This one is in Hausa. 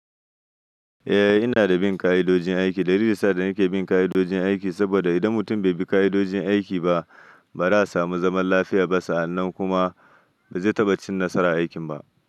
Eh, ina da bin ka'idojin aiki. Dalilin sa da nake bin ka'idojin aiki saboda idan mutum bai bi ka'idojin aiki ba, ba zai samu zaman lafiya ba, sannan kuma ba zai taɓa cin nasara a aikin ba.